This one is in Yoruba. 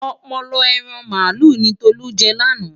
Ọpọlọ ẹran màálù ni Tolú jẹ lánàá.